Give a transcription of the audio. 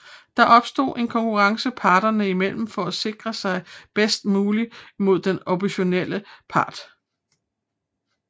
Der opstår en konkurrence parterne i mellem for at sikre sig bedst muligt mod den oppositionelle part